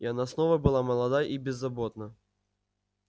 и она снова была молода и беззаботна